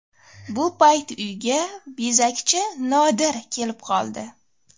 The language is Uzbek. Bu payt uyga bezakchi Nodir kelib qoldi.